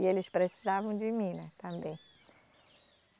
E eles precisavam de mim, né, também.